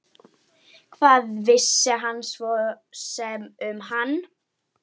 Hvað vissi hann svo sem um hana?